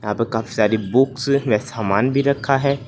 यहां पर काफी सारे बुक्स व सामान भी रखा है।